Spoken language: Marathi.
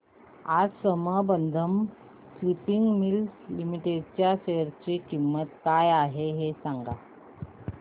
आज संबंधम स्पिनिंग मिल्स लिमिटेड च्या शेअर ची किंमत काय आहे हे सांगा